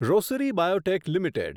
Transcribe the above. Rossari Biotech limited